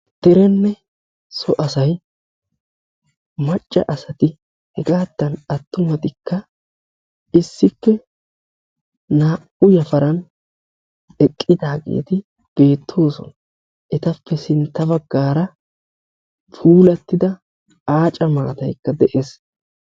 Derenne so asayi hegaattan attumatikka issippe naa'u yafaran eqqidaageeti beettoosona. Etappe sintta baggaara puulattida aaca maataykka de'es.